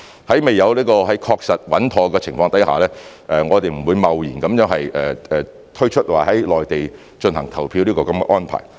在未有確實穩妥的情況下，我們不會貿然推出在內地進行投票的安排。